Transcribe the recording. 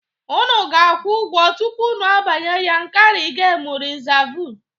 Unu ga-akwụ ụgwo tupu unu banye Yankarị Gemu Rịsavụ.